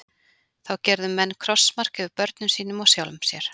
Þá gerðu menn krossmark yfir börnum sínum og sjálfum sér.